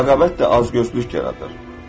Rəqabət də azgözlük yaradır.